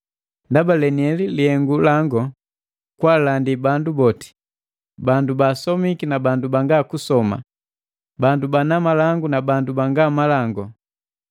Ndaba leniheli lihengu lango, kwaalandi bandu boti, bandu baasomiki na banga kusoma, bandu bana malangu na banga malangu.